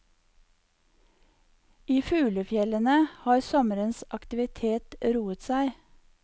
I fuglefjellene har sommerens aktivitet roet seg.